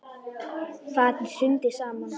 Fatið hrundi saman.